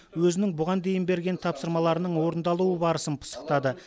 өзінің бұған дейін берген тапсырмаларының орындалуы барысын пысықтады